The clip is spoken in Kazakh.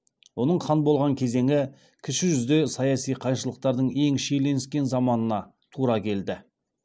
оның хан болған кезеңі кіші жүзде саяси қайшылықтардың ең шиеленіскен заманына тура келді